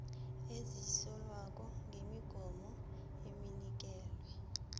ezisolwako ngokwemigomo enikelwe